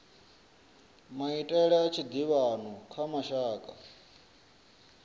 maitele a tshiḓivhano kha mashaka